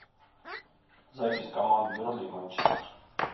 запись команд бернли и манчестер